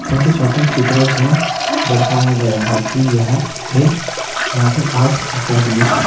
छोटे छोटे चित्रों से दर्शाया गया है कि यह एक मार्टल आर्ट्स अकेडमी है।